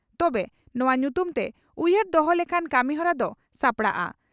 ᱛᱚᱵᱮ, ᱚᱱᱟ ᱧᱩᱛᱩᱢᱛᱮ ᱩᱭᱦᱟᱹᱨ ᱫᱚᱦᱚ ᱞᱮᱠᱟᱱ ᱠᱟᱹᱢᱤᱦᱚᱨᱟ ᱫᱚ ᱥᱟᱯᱲᱟᱣᱜᱼᱟ ᱾